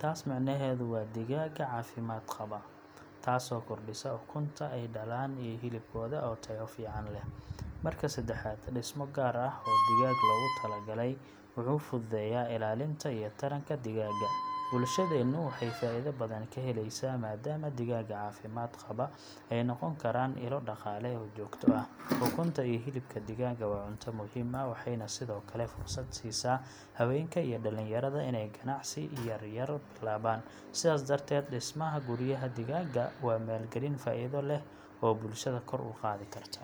Taas micnaheedu waa digaagga caafimaad qaba, taasoo kordhisa ukunta ay dhalaan iyo hilibkooda oo tayo fiican leh. Marka saddexaad, dhismo gaar ah oo digaag loogu talagalay wuxuu fududeeyaa ilaalinta iyo taranka digaagga. Bulshadeennu waxay faa’iido badan ka helaysaa, maadaama digaagga caafimaad qaba ay noqon karaan ilo dhaqaale oo joogto ah. Ukunta iyo hilibka digaagga waa cunto muhiim ah, waxayna sidoo kale fursad siisaa haweenka iyo dhallinyarada inay ganacsi yaryar bilaabaan. Sidaas darteed, dhismaha guryaha digaagga waa maalgelin faa’iido leh oo bulshada kor u qaadi karta.